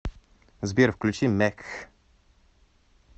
сбер включи мекх